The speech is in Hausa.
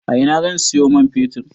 A ina zan siyo man fetir?